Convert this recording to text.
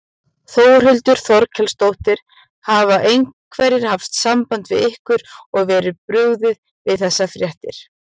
Þórhildur Þorkelsdóttir: Hafa einhverjir haft samband við ykkur og verið brugðið við þessar fréttir?